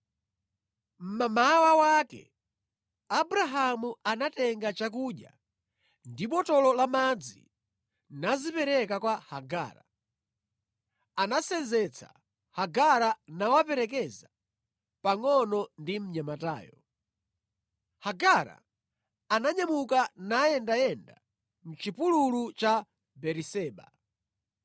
Mmamawa wake, Abrahamu anatenga chakudya ndi botolo la madzi nazipereka kwa Hagara. Anasenzetsa Hagara nawaperekeza pangʼono ndi mnyamatayo. Hagara ananyamuka nayendayenda mʼchipululu cha Beeriseba.